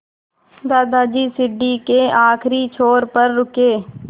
दादाजी सीढ़ी के आखिरी छोर पर रुके